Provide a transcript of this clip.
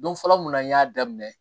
Don fɔlɔ mun na n y'a daminɛ